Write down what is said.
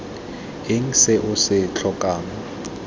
eng se o se tlhokang